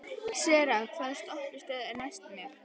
Sera, hvaða stoppistöð er næst mér?